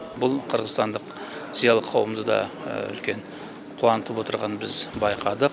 бұл қырғызстандық зиялы қауымды да үлкен қуантып отырғанын біз байқадық